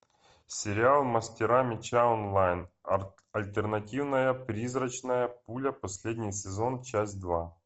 сериал мастера меча онлайн альтернативная призрачная пуля последний сезон часть два